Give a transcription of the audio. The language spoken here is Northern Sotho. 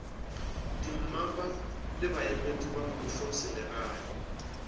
dimmapa le baemedi ba mmušoselegae